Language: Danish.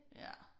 Ja